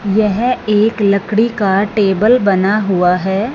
यह एक लड़की का टेबल बना हुआ हैं।